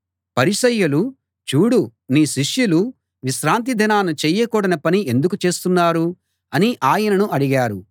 పరిసయ్యులు చూడు నీ శిష్యులు విశ్రాంతి దినాన చేయకూడని పని ఎందుకు చేస్తున్నారు అని ఆయనను అడిగారు